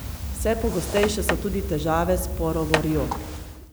Vse pogostejše so tudi težave s porovo rjo.